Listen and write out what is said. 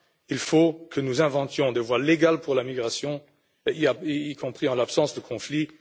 Il faut que nous inventions des voies légales pour la migration, y compris en l'absence de conflits.